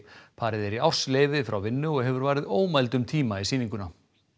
parið er í ársleyfi frá vinnu og hefur varið ómældum tíma í sýninguna